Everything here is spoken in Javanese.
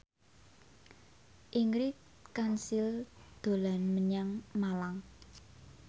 Ingrid Kansil dolan menyang Malang